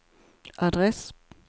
adress